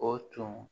O tun